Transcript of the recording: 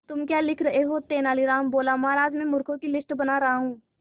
तुम क्या लिख रहे हो तेनालीराम बोला महाराज में मूर्खों की लिस्ट बना रहा हूं